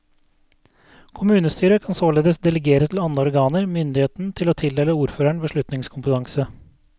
Kommunestyret kan således delegere til andre organer myndigheten til å tildele ordføreren beslutningskompetanse.